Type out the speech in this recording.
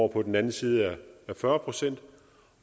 på den anden side af fyrre procent